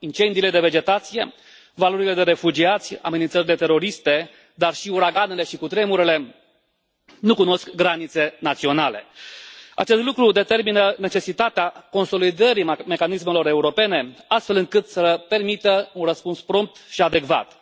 Incendiile de vegetație, valurile de refugiați, amenințările teroriste, dar și uraganele și cutremurele nu cunosc granițe naționale. Acest lucru determină necesitatea consolidării mecanismelor europene, astfel încât să permită un răspuns prompt și adecvat.